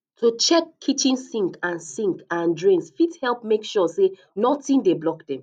to check kitchen sinks and sinks and drains fit help make sure say nothing dey block dem